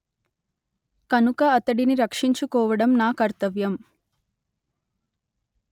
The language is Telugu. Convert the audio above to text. కనుక అతడిని రక్షించుకోవడం నా కర్తవ్యం